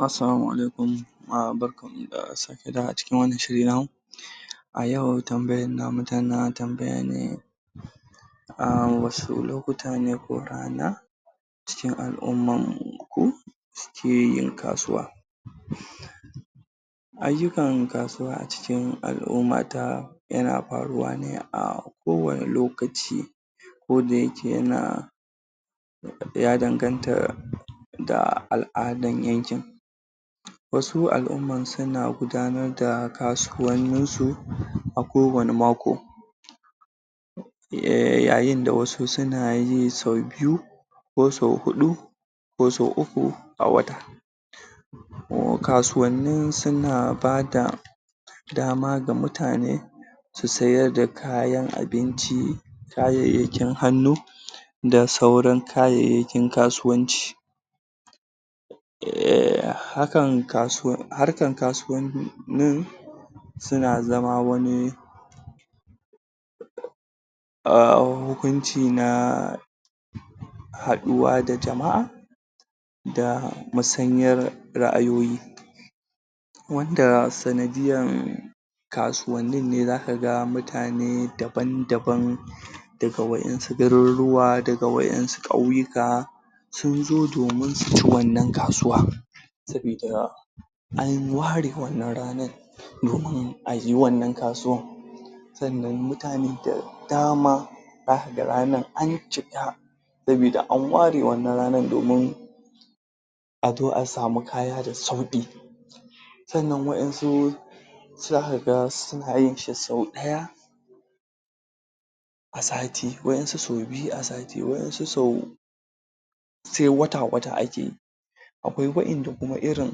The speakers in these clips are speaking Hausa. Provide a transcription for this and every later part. Assalamu Alaiikum, barkan mu da sake dawowa cikin wannan shirin namu a yau tambayar namu tana tambaya ne a wasu lokuta ne ko rana ckin al'umman mu ko su ke yin kasuwa ayyukan kasuwa a cikin al'ummata yana faruwa ne a kowanne lokaci ko da yake yana ya danganta da al'adan yankin wasu al'umman suna gudanar da kasuwanninsu a kowanne mako yayin da wasu suna yi sau biyu ko sau huɗu ko sau uku a wata kasuwanni su na bada dama ga mutane su sayar da kayan abinci kayayyakin hannu da sauran kayayyakin kasuwanci?? harkan kasuwanni suna zama wani?? hukunci na haɗuwa da jama'a da musanyar ra'ayoyi wanda sanadiyar a kasuwannin ne za ka ga mutane daban daban daga waɗansu garuruwa daga waɗansu ƙauyuka sun zo domin su ci wannan kasuwa sabida an ware wannan ranar domin a yi wannan kasuwan sannan mutane da dama za ka ga ranar an cika sabida an ware wannan ranar domin a zo a sami kaya da sauƙi sannan waɗansu za kaga sunayin shi sau ɗaya a sati, waɗansu sau biyu a sati waɗansu sau sai wata wata a ke yi akwai waɗanda kuma irin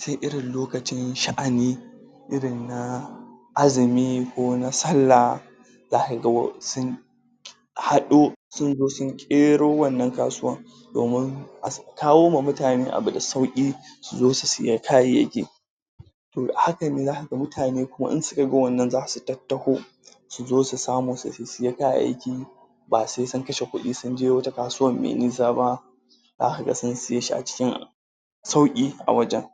sai irin lokacin sha'ani irin na azumi ko na sallah za kaga waɗansu haɗu sun zo sun ƙero wannan kasuwan domin a kawo ma muatne abu da sauƙi su zo su siyi kayayyaki to a hakane za ka ga mutane, wasu daga hakane za su tattaho su zo su samu su ɗan siyi kayayyaki ba sai sun kashe kuɗi sun je wata kasuwan mai nisa ba za kaga sun siye shi a cikin sauƙi a wajen